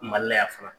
Mali la yan fana